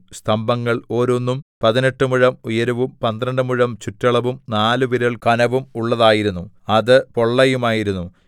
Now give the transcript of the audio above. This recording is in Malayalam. സ്തംഭങ്ങൾ ഓരോന്നും പതിനെട്ട് മുഴം ഉയരവും പന്ത്രണ്ട് മുഴം ചുറ്റളവും നാല് വിരൽ കനവും ഉള്ളതായിരുന്നു അത് പൊള്ളയുമായിരുന്നു